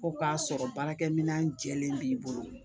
Ko k'a sɔrɔ baarakɛminɛn jɛlen b'i bolo